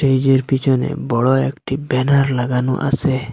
স্টেইজের -এর পিছনে বড়ো একটি ব্যানার লাগানো আছে।